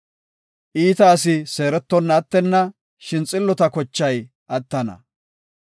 Iita asi seerettonna attenna; shin xillota kochay attana.